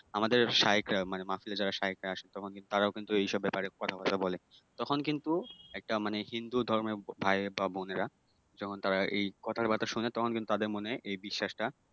আমাদের শাইখরা মানে মাহফিলে যারা শাইখরা আসে তখন কিন্তু তারাও এইসব ব্যাপারে কথা বার্তা বলে তখনও কিন্তু একটা মানে হিন্দু ধর্মের ভাই বা বোনেরা যখন তারা এই কথাগুলো শুনে তখন কিন্তু তাদের মনে এই বিশ্বাসটা